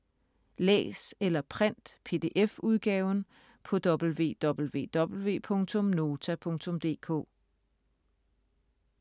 Læs eller print PDF-udgaven på www.nota.dk